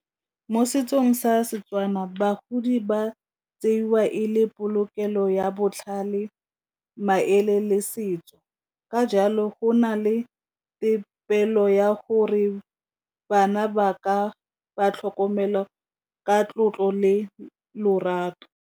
Mo setsong sa Setswana bagodi ba tseiwa e le polokelo ya botlhale, maele le setso ka jalo go na le tefelo ya gore bana ba ka ba tlhokomela ka tlotlo le lorato.